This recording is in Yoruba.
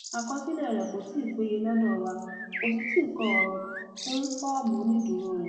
àkọsílẹ rẹ kò tí ì péye lọdọ wa kò sì tí ì kọ ọrọ kún fọọmù onídùúró rẹ